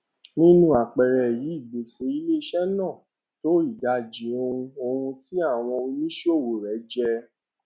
nínú àpẹẹrẹ yìí gbèsè iléiṣẹ náà tó ìdajì ohun ohun tí owó àwọn oníṣòwò rẹ jẹ